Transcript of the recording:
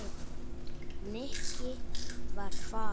Nikki var farinn.